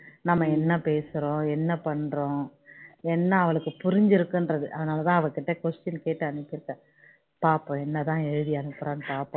நம்ம என்ன பேசுறோம் என்ன பண்றோம் என்ன வளுக்கு புரிஞ்சி இருக்குன்னு அதான் அவளுக்கு question கேட்டு அனுப்பி இருக்கேன் பார்ப்போம் என்ன தான் எழுதி அனுப்புறான்னு பார்ப்போம்